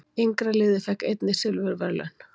Yngra liðið fékk einnig silfurverðlaun